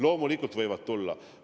Loomulikult võivad tulla.